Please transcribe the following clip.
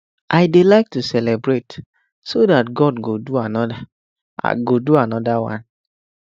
i dey like to celebrate so dat god go do another go do another one